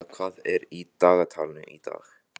Arabella, hvað er í dagatalinu í dag?